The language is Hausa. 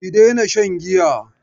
Ki daina shan giya!